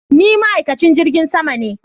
Ni ma'aikacin jirgin sama ne.